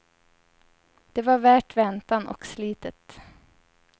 Det var värt väntan och slitet.